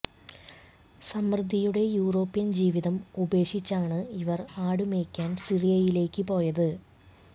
സമൃദ്ധിയുടെ യൂറോപ്യൻ ജീവിതം ഉപേക്ഷിച്ചാണ് ഇവർ ആട് മെയ്ക്കാൻ സിറിയയിലേക്ക് പോയത്